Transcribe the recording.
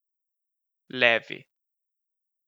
Levi.